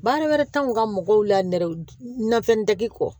Baara wɛrɛ t'anw ka mɔgɔw la nɛrɛ nafɛnw kɔ